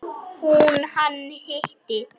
Hún: Hann hitti.